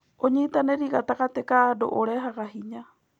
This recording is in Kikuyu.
ũnyitanĩri gatagatĩ ka andũ ũrehaga hinya.